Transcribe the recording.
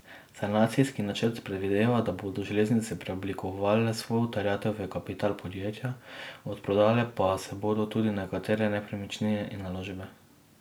Sanacijski načrt predvideva, da bodo železnice preoblikovale svojo terjatev v kapital podjetja, odprodale pa se bodo tudi nekatere nepremičnine in naložbe.